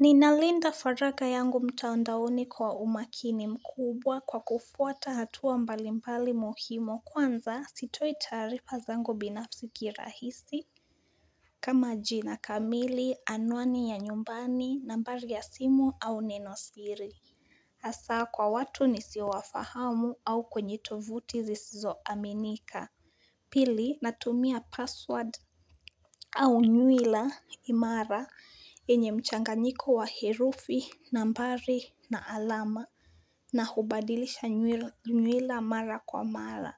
Ninalinda faraga yangu mtaondaoni kwa umakini mkubwa kwa kufuata hatua mbalimbali muhimo kwanza sitoi tarifa zangu binafsiki rahisi. Kama jina kamili anwani ya nyumbani nambari ya simu au neno siri. Hasaa kwa watu nisi wafahamu au kwenye tovuti zizizo aminika. Pili natumia password au nyuila imara enye mchanga niko wa herufi, nambari na alama. Na hubadilisha nyuila mara kwa mara.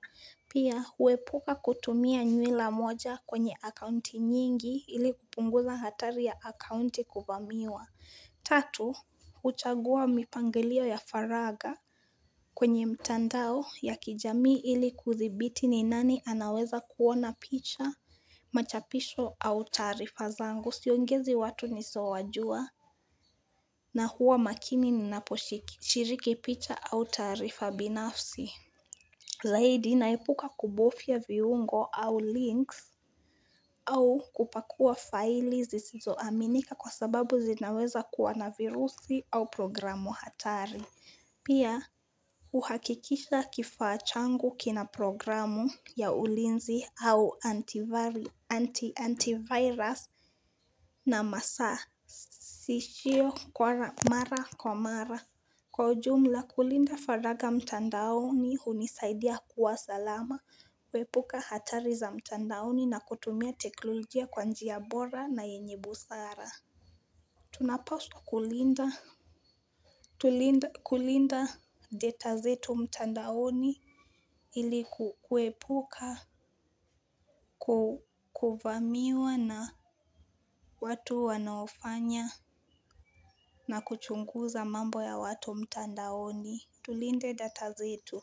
Pia huepuka kutumia nyuila moja kwenye akaunti nyingi ili kupunguza hatari ya akaunti kubamiwa. Tatu, uchagua mipangilio ya faraga kwenye mtandao ya kijami ili kuthibiti ni nani anaweza kuona picha. Machapisho au tarifa zangu siongezi watu nisowajua na huwa makini ninaposhiki shiriki picha au tarifa binafsi. Zaidi naipuka kubofia viungo au links. Au kupakua faili zisizoaminika kwa sababu zinaweza kuwa na virusi au programu hatari. Pia uhakikisha kifachangu kina programu ya ulinzi au Antivirus. Na masaa sishio mara kwa mara Kwa jumla kulinda faraga mtandaoni hunisaidia kuwa salama. Kwepuka hatari za mtandaoni na kutumia teknolojia kwa njiya bora na yenyebusara. Tunapaswa kulinda Tulinda kulinda data zetu mtandaoni Ili kwepuka. Kukuvamiwa na watu wanaofanya. Na kuchunguza mambo ya watu mtandaoni tulinde data zetu.